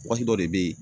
Wagati dɔ de bɛ yen